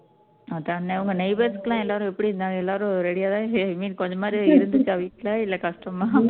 neighbours எல்லாரும் எப்படி இருந்தாங்க எல்லாரும் ready யா தான் i mean கொஞ்சமாவது இருந்துச்சா வீட்ல இல்ல கஷ்டமா